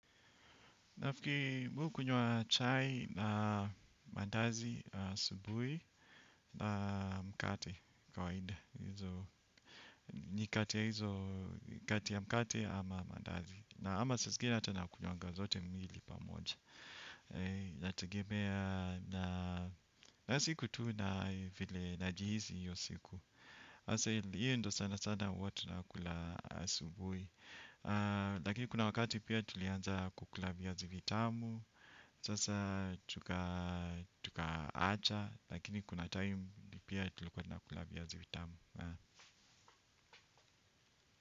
Nafikiri mi hukunywa chai na mandazi asubuhi na mkate kawaida ni kati ya mkate ama mandazi na ama saa zingine hata nakunywanga zote miwili pamoja na siku tuu na vile najihisi hiyo siku. Asa hiyo ndio sana sana huwa tunakula asubui. Lakini kuna wakati pia tulianza kukula viazi vitamu. Sasa tukaacha lakini kuna time pia tulikuwa tunakula viazi vitamu.